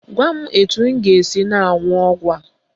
Gwa m etu m ga-esi na-aṅụ ọgwụ a.